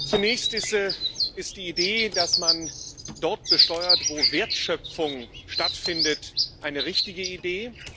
Zunächst ist die Idee, dass man dort besteuert, wo Wertschöpfung stattfindet, eine richtige Idee.